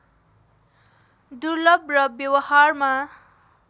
दुर्लभ र व्यवहारमा